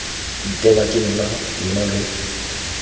itewa ke nna lona lo